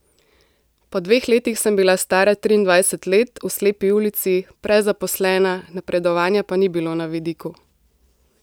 Po dveh letih sem bila stara triindvajset let, v slepi ulici, prezaposlena, napredovanja pa ni bilo na vidiku.